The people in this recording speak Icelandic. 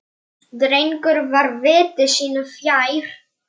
Mig langar að sleikja þig.